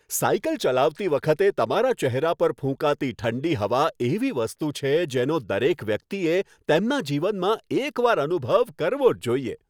Cycle ચલાવતી વખતે તમારા ચહેરા પર ફૂંકાતી ઠંડી હવા એવી વસ્તુ છે, જેનો દરેક વ્યક્તિએ તેમના જીવનમાં એકવાર અનુભવ કરવો જ જોઇએ.